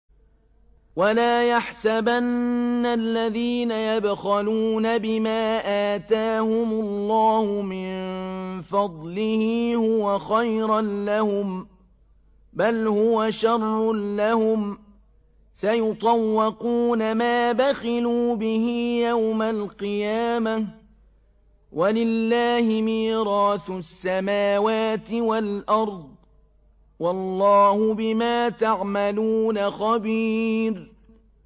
وَلَا يَحْسَبَنَّ الَّذِينَ يَبْخَلُونَ بِمَا آتَاهُمُ اللَّهُ مِن فَضْلِهِ هُوَ خَيْرًا لَّهُم ۖ بَلْ هُوَ شَرٌّ لَّهُمْ ۖ سَيُطَوَّقُونَ مَا بَخِلُوا بِهِ يَوْمَ الْقِيَامَةِ ۗ وَلِلَّهِ مِيرَاثُ السَّمَاوَاتِ وَالْأَرْضِ ۗ وَاللَّهُ بِمَا تَعْمَلُونَ خَبِيرٌ